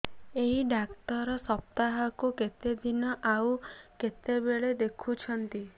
ଏଇ ଡ଼ାକ୍ତର ସପ୍ତାହକୁ କେତେଦିନ ଆଉ କେତେବେଳେ ଦେଖୁଛନ୍ତି